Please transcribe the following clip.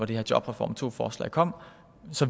det her jobreform to forslag kom